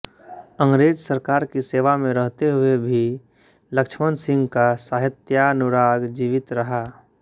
अंग्रेज सरकार की सेवा में रहते हुए भी लक्ष्मण सिंह का साहित्यानुराग जीवित रहा